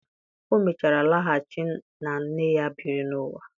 O mechara laghachi na nne ya biri n'ụwa.